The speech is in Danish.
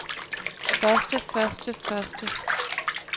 første første første